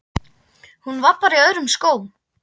Hún var bara í öðrum skónum.